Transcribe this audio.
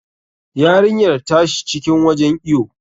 Yarinyar ta shi cikin wajen iwo.